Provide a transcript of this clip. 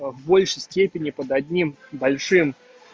по большей степени под одним большим